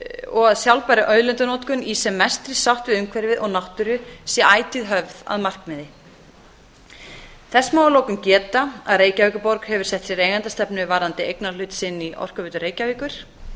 og að sjálfbær auðlindanotkun í sem mestri sátt við umhverfið og náttúru sé ætíð höfð að markmiði þess má að lokum geta að reykjavíkurborg hefur sett sér eigendastefnu varðandi eignarhlut sinn í orkuveitu reykjavíkur